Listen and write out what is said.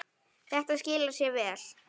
Þetta skilar sér vel.